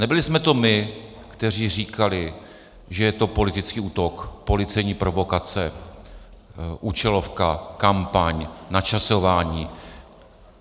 Nebyli jsme to my, kteří říkali, že je to politický útok, policejní provokace, účelovka, kampaň, načasování.